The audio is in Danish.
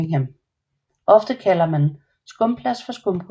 Ofte kalder man skumplast for skumgummi